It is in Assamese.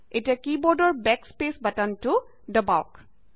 এতিয়া কী বোৰ্ডৰ বেক স্পেচ বাটনটো দবাওক